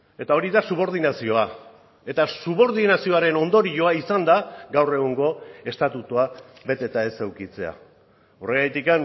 eta hori da subordinazioa eta subordinazioaren ondorioa izan da gaur egungo estatutua beteta ez edukitzea horregatik